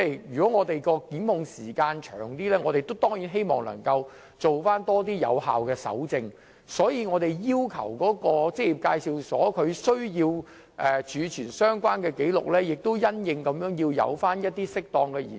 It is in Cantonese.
如果檢控時限較長，我們當然希望能進行更多有效的搜證工作，所以我們要求職業介紹所須備存相關紀錄的時限亦要因應需要而作出適當的延長。